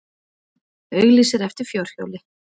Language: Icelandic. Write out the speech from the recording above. Auglýsir eftir fjórhjóli